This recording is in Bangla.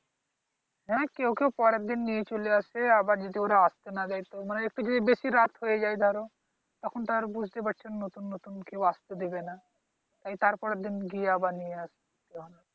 হ্যাঁ, কেউ কেউ পরেরদিন নিয়ে চলে আসে। আবার যদি ওরা আসতে না দেয় মানে এসে যদি বেশি রাত হয়ে যায় ধর। তখন তো বুঝতে পারছো নতুন নতুন কেউ আসতে দেবে না। তাই তারপরের দিন গিয়ে আবার নিয়ে আসলাম।